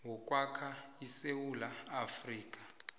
wokwakha isewula afrika